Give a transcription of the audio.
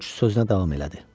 Corc sözünə davam elədi.